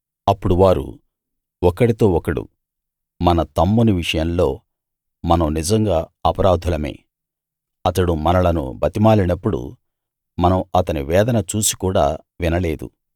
అప్పుడు వారు ఒకడితో ఒకడు మన తమ్ముని విషయంలో మనం నిజంగా అపరాధులమే అతడు మనలను బతిమాలినప్పుడు మనం అతని వేదన చూసి కూడా వినలేదు